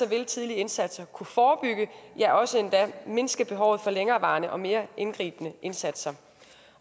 vil tidlige indsatser kunne forebygge ja ofte endda mindske behovet for længerevarende og mere indgribende indsatser